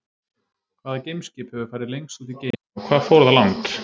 Hvaða geimskip hefur farið lengst út í geiminn og hvað fór það langt?